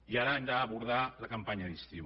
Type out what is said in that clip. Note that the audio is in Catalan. i ara hem d’abordar la campanya d’estiu